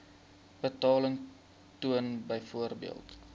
betaling toon byvoorbeeld